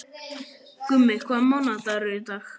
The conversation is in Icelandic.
Gummi, hvaða mánaðardagur er í dag?